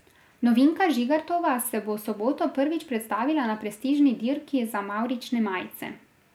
Novinka Žigartova se bo v soboto prvič predstavila na prestižni dirki za mavrične majice.